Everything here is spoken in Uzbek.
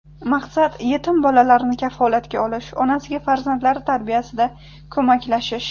Maqsad: yetim bolalarni kafolatga olish, onasiga farzandlari tarbiyasida ko‘maklashish.